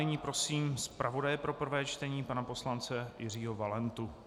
Nyní prosím zpravodaje pro prvé čtení pana poslance Jiřího Valentu.